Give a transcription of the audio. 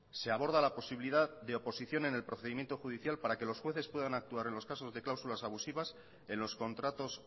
se aborda la posibilidad de oposición en el procedimiento judicial para que los jueces puedan actuar en los casos de cláusulas abusivas en los contratos